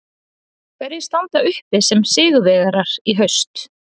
Hverjir standa uppi sem sigurvegarar í haust?